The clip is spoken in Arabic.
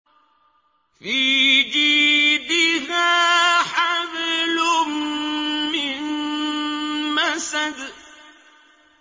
فِي جِيدِهَا حَبْلٌ مِّن مَّسَدٍ